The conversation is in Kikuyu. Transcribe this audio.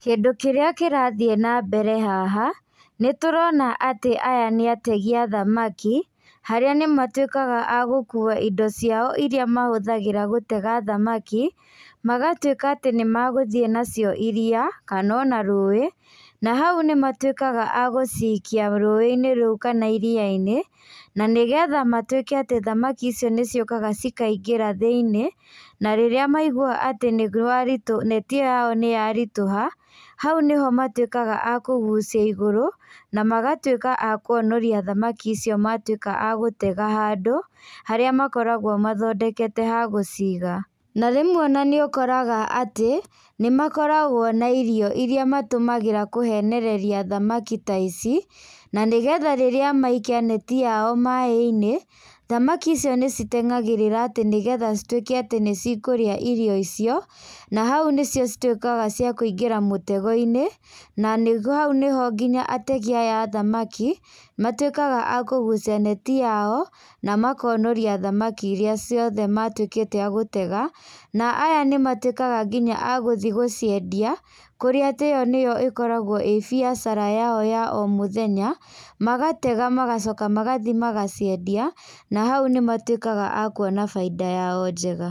Kĩndũ kĩrĩa kĩrathiĩ na mbere haha, nĩ tũrona atĩ aya nĩ ategi a thamaki harĩa nĩ matuĩkaga agũkuwa indo ciao iria mahũthagĩra gũtega thamaki, magatuĩka atĩ nĩ megũthiĩ nacio iria, kana ona rũĩ, na hau nĩ matuĩkaga agũcikia rũĩ -inĩ rũu kana iria-inĩ, na nĩgetha matuĩke atĩ thamaki icio nĩ ciũkaga cikaingĩra thĩiniĩ, na rĩrĩa maigwa atĩ nĩ rwari, neti ĩyo yao nĩ yaritũha, hau nĩho matuĩkaga akũgucia igũrũ, na magatuĩka akwonoria thamaki icio matuĩka agũtega handũ harĩa makoragwo mathondekete hagũciga, na rĩmwe ona nĩ ũkoraga atĩ nĩ makoragwo na irio iria matũmagĩra kũhenereria thamaki taici, na nĩgetha rĩrĩa maikia neti yao maĩ-inĩ, thamaki icio nĩ citengeragĩrĩra atĩ nĩgetha citweke atĩ nĩ cikorĩa irio icio, na hau nĩho cituĩkaga cĩa kũingĩra mũtego-inĩ, na nĩguo hau nĩho ngina ategi aya a thamaki, matuĩkaga akũgucia neti yao, na makonoria thamaki iria ciothe matuĩkĩte agũtega, na aya nĩ matuĩkaga ngina agũthiĩ gũciendia, kũrĩa atĩ ĩyo nĩyo ĩkoragwo ĩ biacara yao ya o mothenya, magatega magacoka magathiĩ magaciendia, na hau nĩ matuĩkaga akuona bainda yao njega.